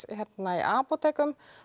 í apótekum